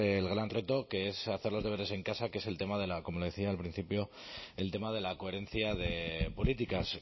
el gran reto que es hacer los deberes en casa que es el tema de la como le decía al principio el tema de la coherencia de políticas